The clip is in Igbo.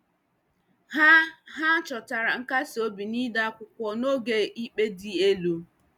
Ha Ha chọtara nkasi obi n'ide akwụkwọ n'oge ikpe dị elu.